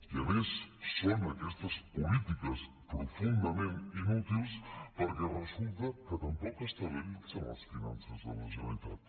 i a més són aquestes polítiques profundament inútils perquè resulta que tampoc estabilitzen les finances de la generalitat